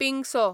पिंगसो